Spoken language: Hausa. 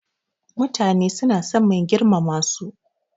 Mutane suna son mai girmama su.